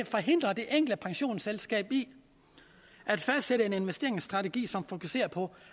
forhindrer det enkelte pensionsselskab i at fastsætte en investeringsstrategi som fokuserer på